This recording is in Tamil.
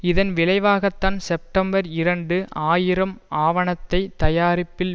இதன் விளைவாகத்தான் செப்டம்பர் இரண்டு ஆயிரம் ஆவணத்தை தயாரிப்பதில்